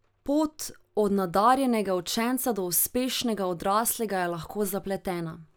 Pot od nadarjenega učenca do uspešnega odraslega je lahko zapletena.